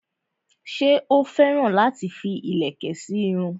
ṣé ó féràn láti fi ìlẹ̀kẹ̀ sí irun rẹ̀?